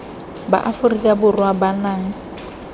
ba aforika borwa ba nang